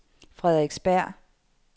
Frederiksberg